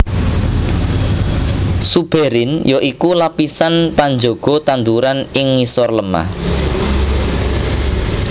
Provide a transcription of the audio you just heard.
Suberin ya iku lapisan panjaga tanduran ing ngisor lemah